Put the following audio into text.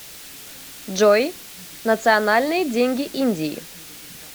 джой национальные деньги индии